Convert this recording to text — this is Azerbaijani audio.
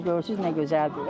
Bax indi də görürsüz nə gözəldir.